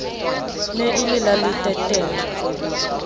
ne e le la leteterre